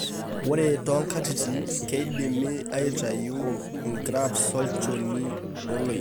Ore toonkatitin, keidimi aatayiewua ingrafts olchoni oloik.